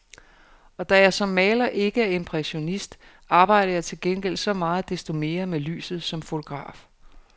Og da jeg som maler ikke er impressionist, arbejder jeg til gengæld så meget desto mere med lyset som fotograf.